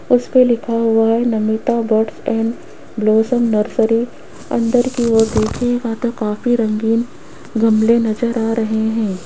उसपे लिखा हुआ है Namita Birds and Blossom Nursery अंदर की ओर देखियेगा तो काफी रंगीन गमले नजर आ रहे हैं।